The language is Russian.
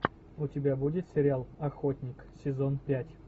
у тебя будет сериал охотник сезон пять